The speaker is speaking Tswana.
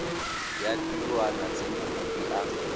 ya ditirwana tse mokopi a